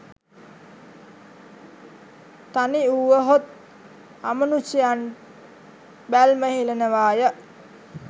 තනිවුවහොත් අමනුෂ්‍යයන් බැල්ම හෙළනවාය